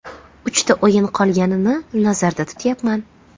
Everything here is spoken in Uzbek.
Uchta o‘yin qolganini nazarda tutyapman.